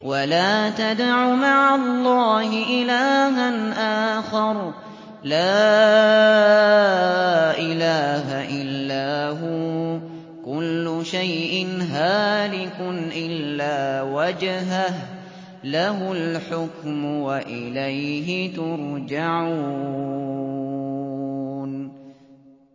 وَلَا تَدْعُ مَعَ اللَّهِ إِلَٰهًا آخَرَ ۘ لَا إِلَٰهَ إِلَّا هُوَ ۚ كُلُّ شَيْءٍ هَالِكٌ إِلَّا وَجْهَهُ ۚ لَهُ الْحُكْمُ وَإِلَيْهِ تُرْجَعُونَ